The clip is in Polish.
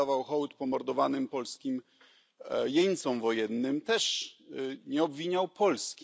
oddawał hołd pomordowanym polskim jeńcom wojennym, też nie obwiniał Polski.